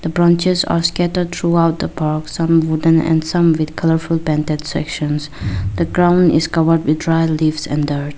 The branches are scattered throughout the park some wooden and some with colorful painted sections the ground is covered with dry leaves and dirt.